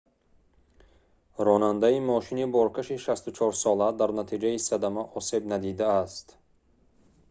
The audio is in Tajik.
ронандаи мошини боркаши 64-сола дар натиҷаи садама осеб надидиааст